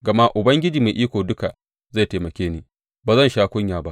Gama Ubangiji Mai Iko Duka zai taimake ni, ba zan sha kunya ba.